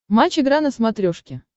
матч игра на смотрешке